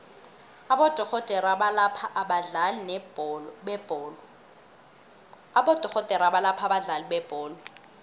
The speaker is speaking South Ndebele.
abodorhodere abalapha abadlali bebholo